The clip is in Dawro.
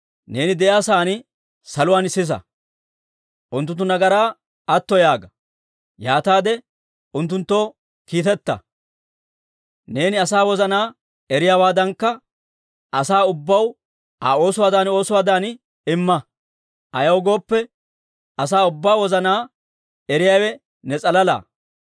neeni de'iyaa sa'aan saluwaan sisa. Unttunttu nagaraa atto yaaga; yaataade unttunttoo kiiteta. Neeni asaa wozanaa eriyaawaadankka, asaa ubbaw Aa oosuwaadan oosuwaadan imma. Ayaw gooppe, asaa ubbaa wozanaa eriyaawe ne s'alala.